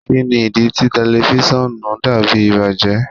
Kini idi ti tẹlifisiọnu dabi ibajẹ?